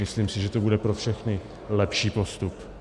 Myslím si, že to bude pro všechny lepší postup.